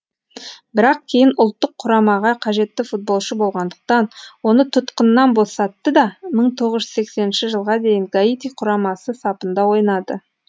бірақ кейін ұлттық құрамаға қажетті футболшы болғандықтан оны тұтқыннан босатты да мың тоғыз жүз сексенінші жылға дейін гаити құрамасы сапында ойнады